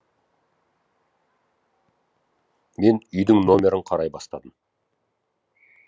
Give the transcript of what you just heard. мен үйдің номерін қарай бастадым